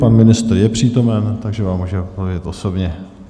Pan ministr je přítomen, takže vám může odpovědět osobně.